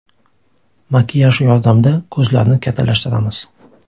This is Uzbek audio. Makiyaj yordamida ko‘zlarni kattalashtiramiz.